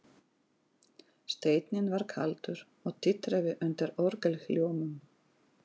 Steinninn var kaldur og titraði undan orgelhljómum.